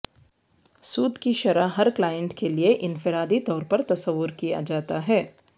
سود کی شرح ہر کلائنٹ کے لئے انفرادی طور پر تصور کیا جاتا ہے